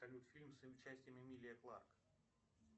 салют фильм с участием эмилии кларк